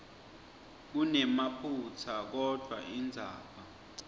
kunemaphutsa kodvwa indzaba